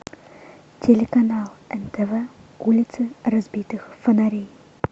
телеканал нтв улица разбитых фонарей